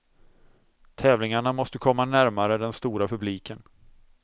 Tävlingarna måste komma närmare den stora publiken.